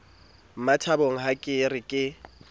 mmathabang ha ke re ke